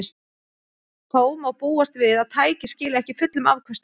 Þó má búast við að tækið skili ekki fullum afköstum.